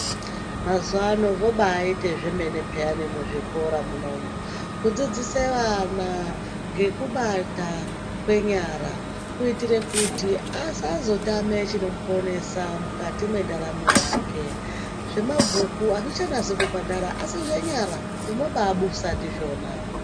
Mazuvano vobaite zvemene piyani muzvikora munomu kudzidzise vana ngekubata kwenyara kuitire kuti asazotame chinomuponesa mukati mwendaramo yake zvemabhuku azvichanasi kubhadhara asi zvenyara unobabusa ndizvona.